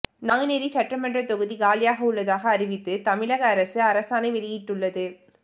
நாங்குநேரி சட்டமன்றத் தொகுதி காலியாக உள்ளதாக அறிவித்து தமிழக அரசு அரசாணை வெளியிட்டுள்ளது